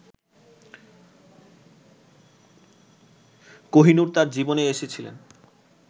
কোহিনূর তাঁর জীবনে এসেছিলেন